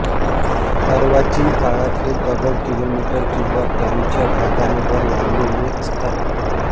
अर्वाचीन काळात हे दगड किलोमीटर किंवा त्याच्या भागांवर लावलेले असतात